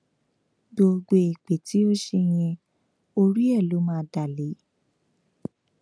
gbogbo èpè tí o ṣe yẹn orí ẹ ló máa dá lé